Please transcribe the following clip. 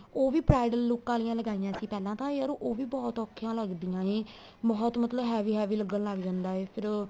ਉਹ ਵੀ bridal look ਆਲੀਆਂ ਲਗਾਈਆਂ ਸੀ ਪਹਿਲਾਂ ਤਾਂ ਯਾਰ ਉਹ ਵੀ ਬਹੁਤ ਔਖੀਆਂ ਲੱਗਦੀਆਂ ਨੇ ਬਹੁਤ ਮਤਲਬ heavy heavy ਲੱਗਣ ਲੱਗ ਜਾਂਦਾ ਏ ਫ਼ੇਰ